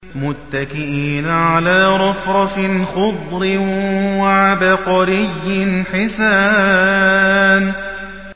مُتَّكِئِينَ عَلَىٰ رَفْرَفٍ خُضْرٍ وَعَبْقَرِيٍّ حِسَانٍ